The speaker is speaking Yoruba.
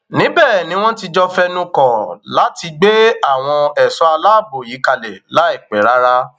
níbẹ ni wọn ti jọ fẹnukọ láti gbé àwọn ẹṣọ aláàbọ yìí kalẹ láìpẹ rárá